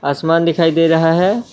आसमान दिखाई दे रहा है।